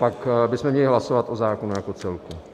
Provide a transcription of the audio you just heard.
Pak bychom měli hlasovat o zákonu jako celku.